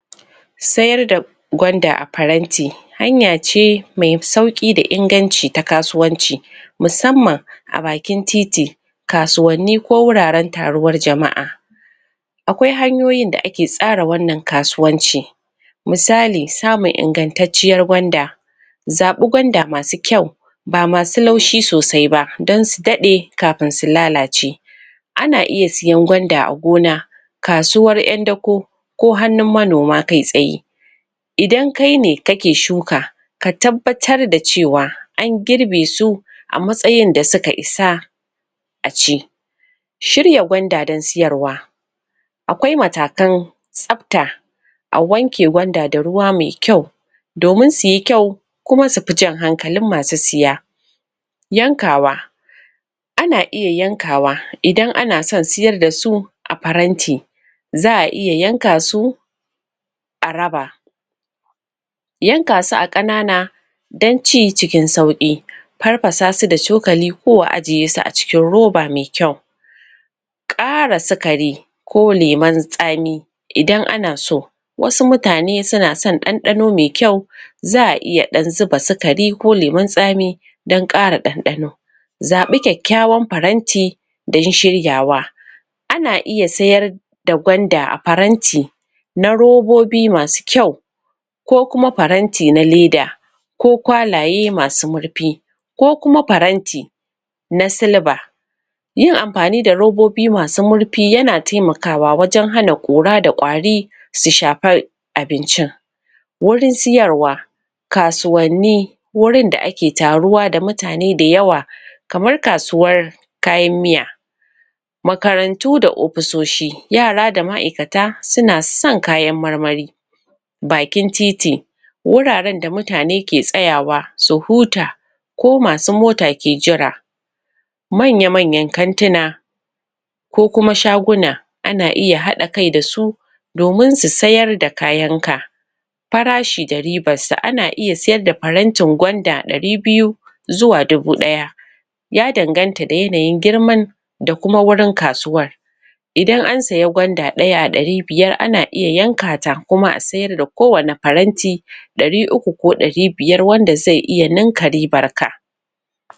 sayar da gwanda a faranti hanya ce mai sauƙi da inganci ta kasuwanci musamman a bakin titi kasuwanni, ko wuraren taruwar jama'a Akwai hanyoyin da ake tsara wannan kasuwanci misali, samun ingantacciyar gwanda zaɓi gwanda masu kyau ba masu laushi sosai ba, don su daɗe kafin su lalace ana iya siyan gwanda a gona kasuwar ƴan dako ko hannun manoma kai tsaye idan kaine kake shuka ka tabbatar da cewa an girbe su a matsayin da suka isa a ci. Shirya gwanda don siyarwa. Akwai matakan tsafta a wanke gwanda da ruwa mai kyau domin suyi kyau kuma sufi jan hankalin masu siya. Yankawa. Ana iya yankawa, idan ana son siyar dasu a faranti Za'a iya yanka su a raba yanka su a ƙanana don ci cikin sauƙi Farfasa su da cokali, ko a ajiye su acikin roba mai kyau ƙara sukari ko lemon tsami ida ana so. Wasu mutane suna son ɗanɗano mai kyau za'a iya ɗan zuba sukari ko lemon tsami don ƙara ɗanɗano zaɓi kyakykyawan faranti dan shiryawa ana iya sayar da gwanda a faranti na robobi masu kyau ko kuma faranti na leda ko kwalaye masu murfi ko kuma faranti na silba yin amfani da robobi masu murfi yana taimakawa wajen hana ƙura da ƙwari su shafa abincin Wurin siyarwa. Kasuwanni wurin da ake taruwa da mutane da yawa kamar kasuwar kayan miya Makarantu da ofisoshi. Yara da ma'aikata suna son kayan marmari. Bakin titi. Wuraren da mutane ke tsayawa su huta ko masu mota ke jira Manya-manyan kantina ko kuma shaguna ana iya haɗa kai da su domin su sayar da kayan ka Farashi da ribar sa. Ana iya siyar da farantin gwanda ɗari biyu zuwa dubu ɗaya ya danganta da yanayin girman da kuma wurin kasuwar idan an saya gwanda ɗaya a ɗari biyar ,ana iya yanka ta kuma a siyar da kowanne faranti ɗari uku ko ɗari biyar, wanda zai iya ninka ribar ka.